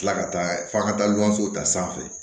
Tila ka taa f'a ka taa lilɔnsow ta sanfɛ